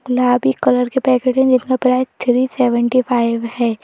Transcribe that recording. गुलाबी कलर के पैकेट है जिसका प्राइज थ्री सेवन्टी फाइव है।